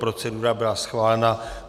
Procedura byla schválena.